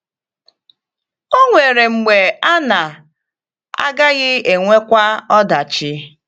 Ò nwere mgbe a na - agaghị enwekwa ọdachi?